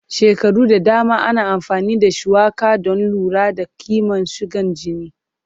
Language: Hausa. Shekaru da dama ana amfani da shuwaka don lura da kiman sigan jini.